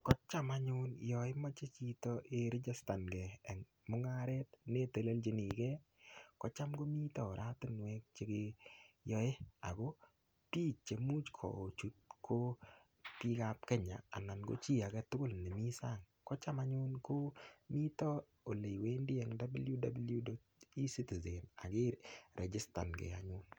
Kocham anyun yonimoche chito irijistange en mung'aret ne iteleljini ge kocham komite oratinwek chekeyoi ago biik cheimuh kochut ko biik ab Kenya ana ko chi age tugul nemi sang kocham anyun nito ele iwendi en www.ecitizen.go.ke ak irijistange.